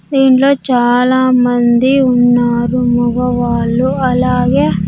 దీంట్లో చాలామంది ఉన్నారు మగవాళ్ళు అలాగే.